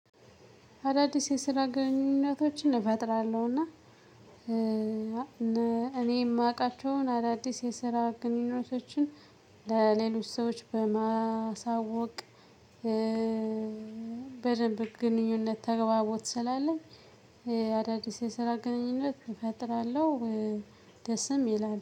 አዳዲስ የስራ ግንኙነቶችን እፈጥራለሁና። እኔ የማውቃቸውን አዳዲስ የስራ ግንኙነቶችን ለሌሎች ሰዎች በማሳወቅ። በደንብ ግንኙነት ተግባቦት ስላለኝ አዳዲስ የስራ ግንኙነት እፈጥራለሁ። ደስም ይላል